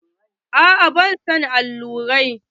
A'a ba na son allurai.